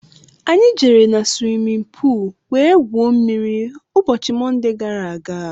Anyị jere na swimin poolu wee gwuo mmiri ụbọchị Monde gaara aga.